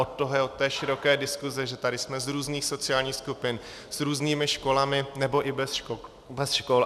Od toho je, od té široké diskuze, že tady jsme z různých sociálních skupin, s různými školami nebo i bez škol.